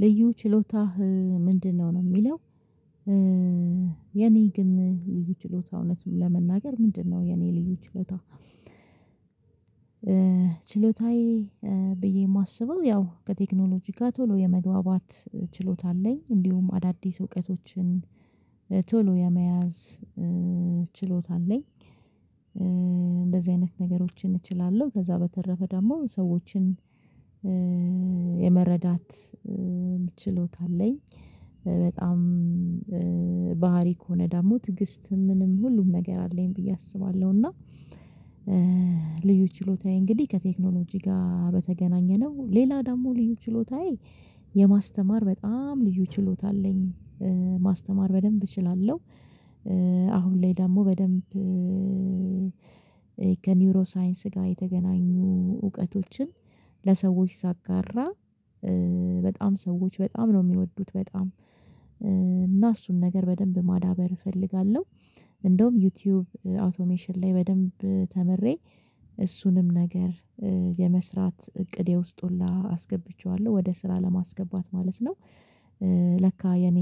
ልዩ ችሎታህ ምንድነው ነው የሚለው? የኔ ግን ልዩ ችሎታ እውነት ለመናገር ምንድነው የኔ ልዩ ችሎታ? ችሎታዬ ብዬ የማስበው ያው ከቴክኖሎጂ ጋር ቶሎ የመግባባት ችሎታ አለኝ እንዲሁም አዳዲስ እውቀቶችን ቶሎ የመያዝ ችሎታ አለኝ። እንደዚህ አይነት ነገሮችን እችላለሁ ከዛ በተረፈ ደግሞ ሰዎችን የመረዳት አለኝ በጣም ባህሪ ከሆነ ደግሞ ትግስት ምንም ሁሉም ነገር አለኝ ብዬ አስባለሁ። እና ልዩ ችሎታዬ እንግዲህ ከቴክኖሎጂ ጋር በተገናኘነው ሌላ ደግሞ ልዩ ችሎታዬ የማስተማር በጣም ልዩ ችሎታ አለኝ ማስተማር በደንብ እችላለሁ። አሁን ላይ ደግሞ በደንብ ከኒውሮ ሳይንስ ጋር የተገናኙ እውቀቶችን ለሰዎች ሳጋራ በጣም ሰዎች በጣም ነው የሚወዱት በጣም እና እሱን ነገር በደንብ ማዳበር እፈልጋለሁ። እንደውም ዩቲዩብ አውቶሜሽን ላይ በደንብ ተምሬ እሱንም ነገር የመስራት እቅዴ ውስጥ ሁላ አስገብቼዋለሁ ወደ ስራ ለማስገባት ማለት ነው። ለካ የኔ